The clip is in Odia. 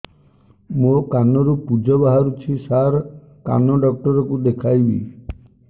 ମୋ କାନରୁ ପୁଜ ବାହାରୁଛି ସାର କାନ ଡକ୍ଟର କୁ ଦେଖାଇବି